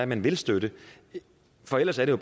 man vil støtte for ellers er det